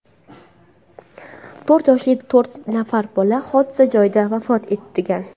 To‘rt yoshli to‘rt nafar bola hodisa joyida vafot etgan.